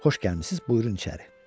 Xoş gəlmisiniz, buyurun içəri.